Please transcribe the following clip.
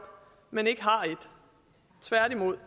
men ikke har et tværtimod